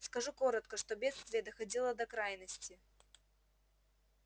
скажу коротко что бедствие доходило до крайности